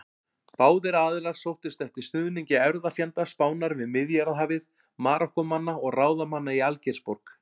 Báðir aðilar sóttust eftir stuðningi erfðafjenda Spánar við Miðjarðarhafið: Marokkómanna og ráðamanna í Algeirsborg.